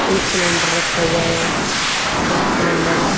एक सिलेंडर रखा हुआ है गैस सिलेंडर ।